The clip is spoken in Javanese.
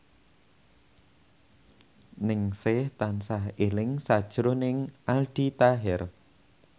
Ningsih tansah eling sakjroning Aldi Taher